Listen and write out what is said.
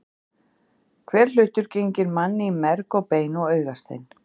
Hver hlutur genginn manni í merg og bein og augastein.